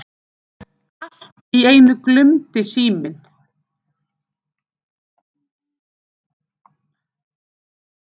Allt í einu glumdi síminn.